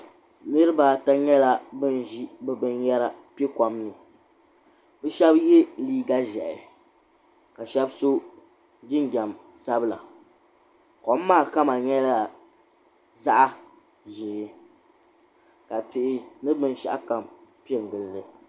Niriba ata nyɛla ban ʒi bɛ binyɛra kpe kom ni bɛ shɛba ye liiga ʒɛhi ka shɛba so jinjam sabila kom maa kama nyɛla zaɣ'ʒee ka tihi ni binshɛɣu kam pe n-gili li.